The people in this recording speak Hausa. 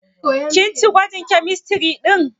Kin ci gwajin kemistiri ɗin?